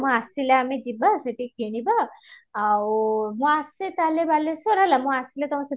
ମୁଁ ଆସିଲେ ଆମେ ଯିବା ସେଠି କିଣିବା ଆଉ ମୁଁ ଆସେ ତାହାଲେ ବାଲେଶ୍ଵର ହେଲା ମୁଁ ଆସିଲେ